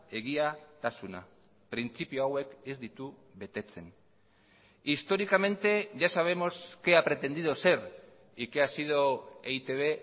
egiatasuna printzipio hauek ez ditu betetzen históricamente ya sabemos qué ha pretendido ser y qué ha sido e i te be